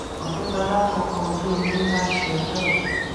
ọtẹdọlà fọkọ ojú omi ńlá ṣe ọjọòbí